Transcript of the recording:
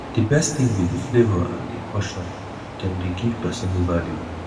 di best thing be di flavor and di portion dem dey give pesin value